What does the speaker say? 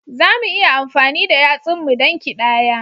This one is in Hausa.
Za mu iya amfani da yatsunmu don ƙidaya